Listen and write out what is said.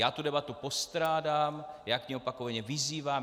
Já tu debatu postrádám, já k ní opakovaně vyzývám.